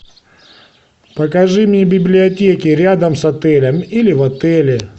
покажи мне библиотеки рядом с отелем или в отеле